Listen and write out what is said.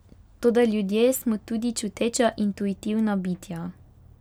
Toda ljudje smo tudi čuteča, intuitivna bitja.